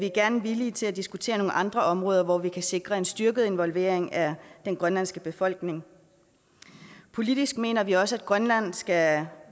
er villige til at diskutere nogle andre områder hvor vi kan sikre en styrket involvering af den grønlandske befolkning politisk mener vi også at grønland skal